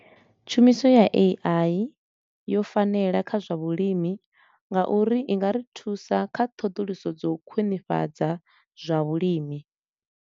Tshumiso ya A_I yo fanela kha zwa vhulimi nga uri i nga ri thusa kha ṱhoḓuluso dza u khwinifhadza zwa vhulimi.